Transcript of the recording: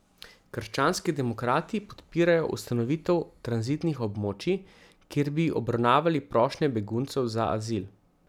Krščanski demokrati podpirajo ustanovitev tranzitnih območij, kjer bi obravnavali prošnje beguncev za azil.